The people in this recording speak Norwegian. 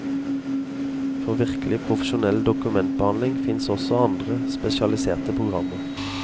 For virkelig profesjonell dokumentbehandling finnes også andre, spesialiserte programmer.